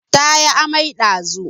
Ta yi amai ɗazu